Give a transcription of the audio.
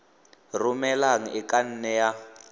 romelang e ka nne ya